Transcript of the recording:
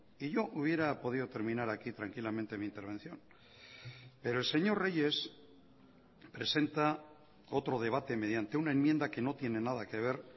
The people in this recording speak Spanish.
y yo hubiera podido terminar aquí tranquilamente mi intervención pero el señor reyes presenta otro debate mediante una enmienda que no tiene nada que ver